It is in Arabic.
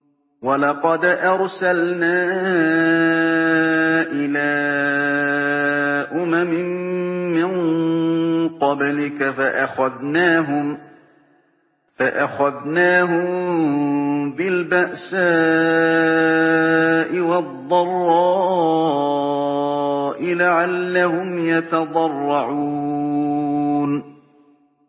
وَلَقَدْ أَرْسَلْنَا إِلَىٰ أُمَمٍ مِّن قَبْلِكَ فَأَخَذْنَاهُم بِالْبَأْسَاءِ وَالضَّرَّاءِ لَعَلَّهُمْ يَتَضَرَّعُونَ